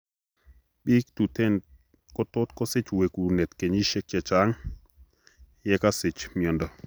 Biik tuten kotot kosich wekuneet kenyisiek chechang' yekakosich miondo